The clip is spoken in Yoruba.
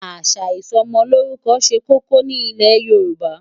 Àṣà ìsọmọlórúkọ ṣe kókó ní ilẹ̀ Yorùbá.